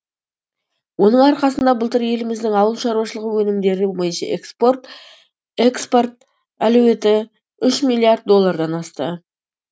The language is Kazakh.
оның арқасында былтыр еліміздің ауыл шаруашылығы өнімдері бойынша экспорт әлеуеті үш миллиард доллардан асты